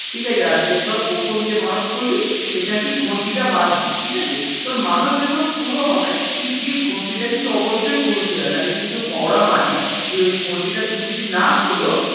ঠিকাছে আর যদি ধর প্রথম যে মানদ করবি সেখানে তুই ঘনটিতা বাধবি ঠিকাছে তোর মানদ যখন পুরো হবে তুই গিয়ে ঘনটিটা কিন্তু অবশ্যই খুলতে ‌‌‌হয় নাহলে কিন্তু ওরা মানে যে ওই ঘন্টিটা তুমি যদি না খুলো তাহলে